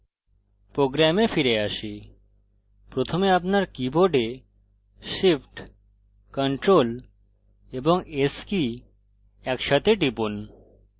program ফিরে আসি প্রথমে আপনার keyboard shift ctrl এবং s come একসাথে টিপুন